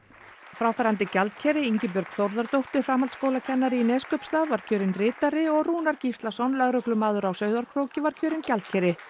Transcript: fráfarandi gjaldkeri Ingibjörg Þórðardóttir framhaldsskólakennari í Neskaupstað var kjörin ritari og Rúnar Gíslason lögreglumaður á Sauðárkróki var kjörinn gjaldkeri